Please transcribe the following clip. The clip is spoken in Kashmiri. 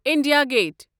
انڈیا گَیٹھ